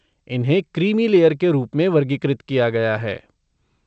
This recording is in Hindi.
इन्हें क्रीमी लेयर के रूप में वर्गीकृत किया गया है।